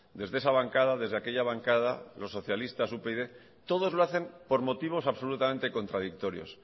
desde esa bancada desde aquella bancada los socialistas upyd todos lo hacen por motivos absolutamente contradictorios